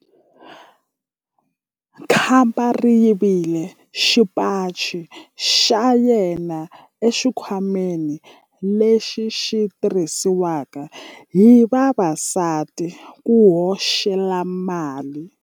Khamba ri yivile xipaci xa yena exikhwameni lexi xi tirhisiwaka hi vavasati ku hoxela mali.